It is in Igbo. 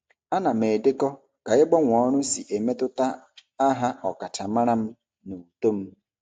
Ana m edekọ ka ịgbanwe ọrụ si emetụta aha ọkachamara m na uto m.